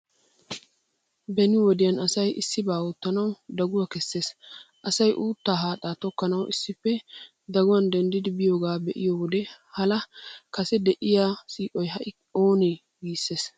Beni wodiyan asay issibaa oottanawu daguwaa kessees. Asay uuttaa haaxaa tokkanawu issippe daguwan denddidi biyoogaa be'iyo wode hala, kase de'iyaa siiqoy ha'i anee? Giissees.